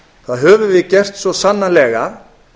það höfum við gert svo sannarlega